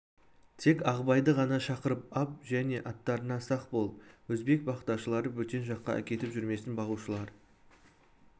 тек ағыбайды ғана шақырып ап және аттарыңа сақ бол өзбек бақташылары бөтен жаққа әкетіп жүрмесін бағушылар